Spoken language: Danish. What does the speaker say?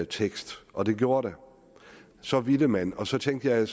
tekst og det gjorde der så ville man og så tænkte jeg